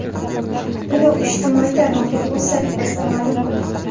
Buni u ijtimoiy tarmoqdagi o‘z sahifasida ma’lum qildi .